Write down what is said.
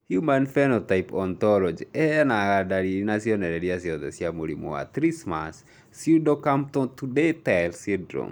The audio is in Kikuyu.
Human Phenotype Ontology ĩheanaga ndariri na cionereria ciothe cia mũrimũ wa Trismus pseudocamptodactyly syndrome